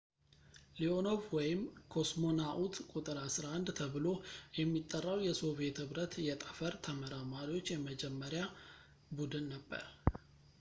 ሊኦኖቭ ወይም «ኮስሞናኡት ቁ.11» ተብሎ የሚጠራው የሶቪዬት ኅብረት የጠፈር ተመራማሪዎች የመጀመሪያ ቡድን ነበር